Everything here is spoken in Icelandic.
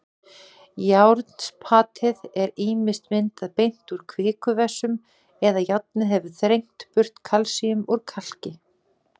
Járnspatið er ýmist myndað beint úr kvikuvessum eða járnið hefur þrengt burt kalsíum úr kalki.